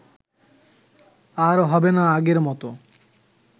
আর হবে না আগের মত